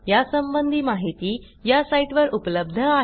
यासंबंधी माहिती या साईटवर उपलब्ध आहे